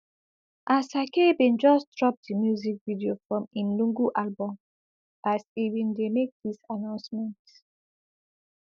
asake bin just drop di music video from im lungu album as e bin dey make dis announcement